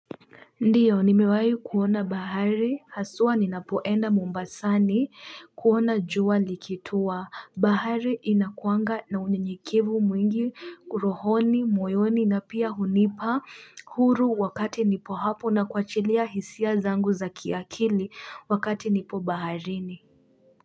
Ndiyo nimewahi kuona bahari haswa ninapoenda mumbasani kuona jua likitua bahari inakuanga na unye nyekivu mwingi kurohoni moyoni na pia hunipa huru wakati nipo hapo na kwachilia hisia zangu za kiakili wakati nipo bahari ni.